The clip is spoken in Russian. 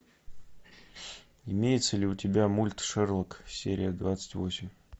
имеется ли у тебя мульт шерлок серия двадцать восемь